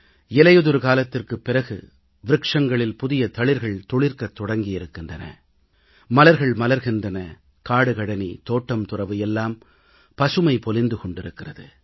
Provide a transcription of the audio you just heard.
இலையுதிர்க்காலத்திற்குப் பிறகு விருட்சங்களில் புதிய தளிர்கள் துளிர்க்கத் தொடங்கியிருக்கின்றன மலர்கள் மலர்கின்றன காடுகழனி தோட்டம்துரவு எல்லாம் பசுமை பொலிந்து கொண்டிருக்கிறது